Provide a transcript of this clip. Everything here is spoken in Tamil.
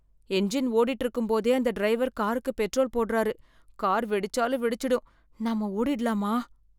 இன்ஜின் ஓடிட்டு இருக்கும்போதே அந்த டிரைவர் காருக்கு பெட்ரோல் போடுறாரு. கார் வெடிச்சாலும் வெடிச்சிடும். நாம ஓடிடலாமா?